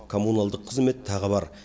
коммуналдық қызмет тағы бар